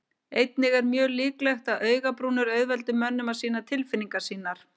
Einnig er mjög líklegt að augabrúnir auðveldi mönnum að sýna tilfinningar sínar.